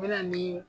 U bɛ na nii